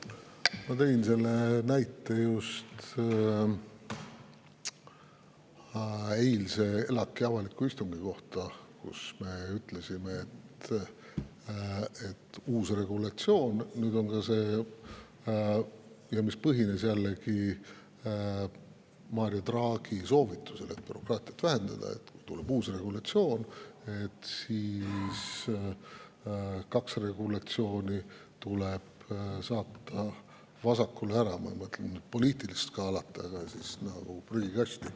Ma tõin just näite ELAK‑i eilse avaliku istungi kohta, kus me ütlesime – see põhineb jällegi Mario Draghi soovitusel bürokraatiat vähendada –, et kui tuleb uus regulatsioon, siis tuleb kaks regulatsiooni saata vasakule ära, ja ma ei mõtle poliitilist skaalat, vaid prügikasti.